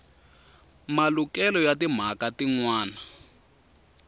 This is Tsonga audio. malukelo ya timhaka tin wana